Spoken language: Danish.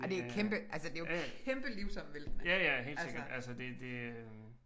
Det øh ja ja ja helt sikkert altså det det øh